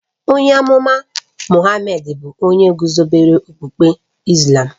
Onye amụma Mohammed bụ onye guzobere okpukpe Islàm